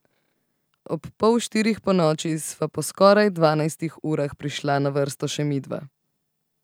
Ob pol štirih ponoči sva po skoraj dvanajstih urah prišla na vrsto še midva.